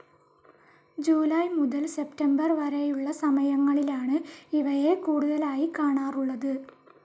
July മുതൽ September വരെയുള്ള സമയങ്ങളിലാണ് ഇവയെ കൂടുതലായി കാണാറുള്ളത്.